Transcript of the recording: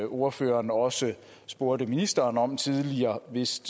ordføreren også spurgte ministeren om tidligere vist